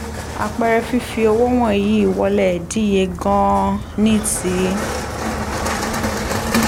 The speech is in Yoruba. àpẹẹrẹ fífi owó wọ̀nyí wọlé díye gan-an ní ti